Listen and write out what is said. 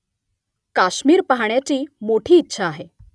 काश्मिर पाहण्याची मोठी इच्छा आहे